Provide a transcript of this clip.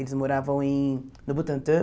Eles moravam em no Butantã.